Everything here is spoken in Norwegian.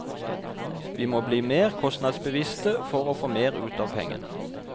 Vi må bli mer kostnadsbevisst for å få mer ut av pengene.